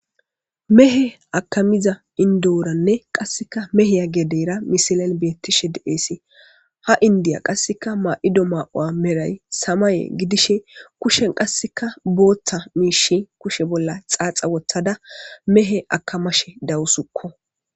Mehe akamiza indoranne qasikka mehiya gedera misiliyan bettishe de'es ha indiya qasekka mayido mayo medhoy samaye gidishin kusheppe qasekka guuththa miishsha kushe bolla xaxa woththada mehe akamashe dawusikko